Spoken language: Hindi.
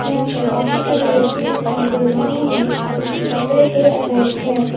यहां पे काफी सारे व्यक्ति दिखाई दे रहे हैं इनके कपड़े के अनेक हैं।